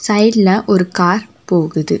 சைட்ல ஒரு கார் போகுது.